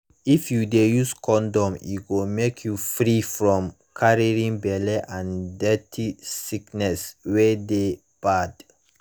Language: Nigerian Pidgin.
if u de use condom e go make you free from carrying belle and dirty sickness wey de bad